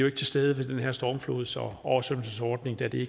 ikke til stede ved den her stormflods og oversvømmelsesordning da det